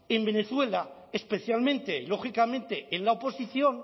en venezuela especialmente lógicamente en la oposición